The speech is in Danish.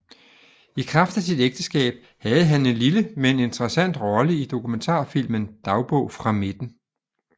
I kraft af sit ægteskab havde han en lille men interessant rolle i dokumentarfilmen Dagbog fra midten